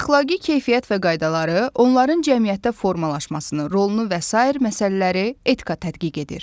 Əxlaqi keyfiyyət və qaydaları, onların cəmiyyətdə formalaşmasını, rolunu və sair məsələləri etika tədqiq edir.